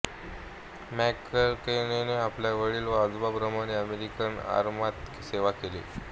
मॅककेनने आपल्या वडील व आजोबांप्रमाणे अमेरिकन आरमारात सेवा केली